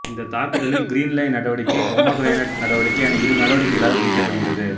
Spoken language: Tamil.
இந்த தாக்குதல் கிரீன்லைன் நடவடிக்கை பொமொகிரனேட் நடவடிக்கை என இரு நடவடிக்கைகளாகப் பிரிக்கப் பட்டிருந்தது